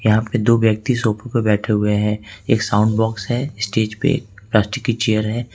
यहां पे दो व्यक्ति सोफे पे बैठे हुए हैं एक साउंड बॉक्स है स्टेज पे प्लास्टिक की चेयर है।